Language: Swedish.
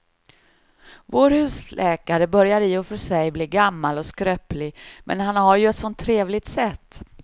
Vår husläkare börjar i och för sig bli gammal och skröplig, men han har ju ett sådant trevligt sätt!